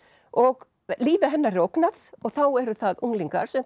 og lífi hennar er ógnað og þá eru það unglingar sem